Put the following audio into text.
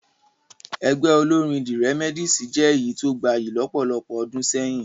Ẹgbẹ́ olórín the Remedies jẹ́ èyí tó gbayì lọ́pọ̀lọpọ̀ ọdún sẹ́yìn